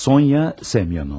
Sonya Semyonova.